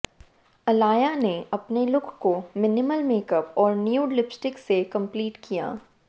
अलाया ने अपने लुक को मिनिमल मेकअप और न्यूड लिपिस्टिक से कंप्लीट किया